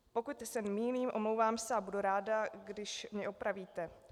Pokud se mýlím, omlouvám se a budu ráda, když mě opravíte.